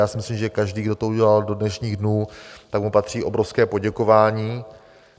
Já si myslím, že každý, kdo to udělal do dnešních dnů, tak mu patří obrovské poděkování.